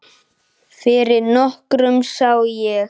Fyrir nokkru sá ég